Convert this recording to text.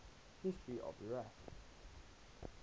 history of iraq